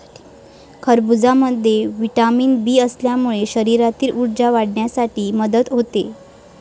खरबुजामध्ये vitamin B असल्यामुळे शरीरातील ऊर्जा वाढवण्यासाठी मदत होते.